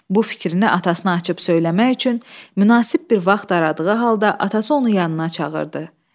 Bu fikrini atasına açıb söyləmək üçün münasib bir vaxt aradığı halda atası onu yanına çağırdı.